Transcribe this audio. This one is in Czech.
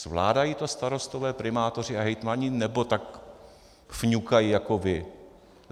Zvládají to starostové, primátoři a hejtmani, nebo tak fňukají jako vy?